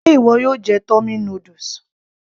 Ṣe ìwọ yóò jẹ tummy noodles